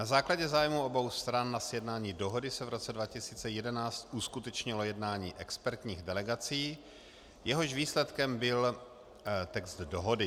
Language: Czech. Na základě zájmu obou stran na sjednání dohody se v roce 2011 uskutečnilo jednání expertních delegací, jehož výsledkem byl text dohody.